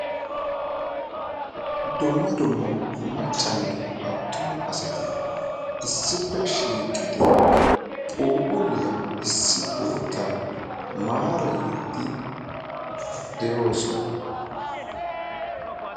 Dumma dumma maccanne attuma asati issippe shiiqidi phuuphphuliyaa issi bootan maarayiidi de'oosona.